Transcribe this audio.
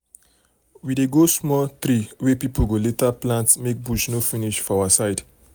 we dey grow small tree wey people go later plant make bush no finish for our side.